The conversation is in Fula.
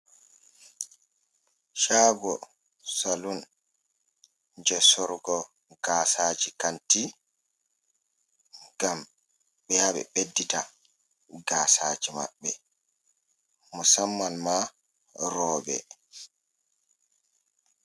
Chago saloon je sorugo gasaji kanti ngam ɓeya ɓe ɓeddita gasaji maɓbe, musamman ma roɓɓe.